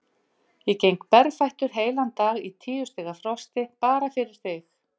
Ég geng um berfættur heilan dag í tíu stiga frosti, bara fyrir þig.